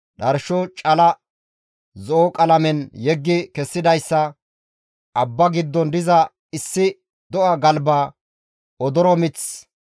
dharsho ite zo7o qalamen yeggi kessidayssa, abbaa giddon diza issi do7a galba, odoro mith,